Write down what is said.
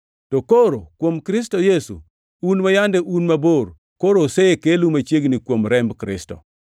To koro, kuom Kristo Yesu, un ma yande un mabor, koro osekelu machiegni kuom remb Kristo.